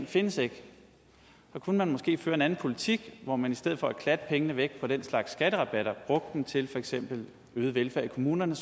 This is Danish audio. findes ikke så kunne man måske føre en anden politik hvor man i stedet for at klatte pengene væk på den slags skatterabatter brugte dem til for eksempel øget velfærd i kommunerne